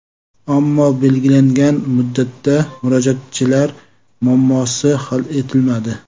Ammo belgilangan muddatda murojaatchilar muammosi hal etilmadi.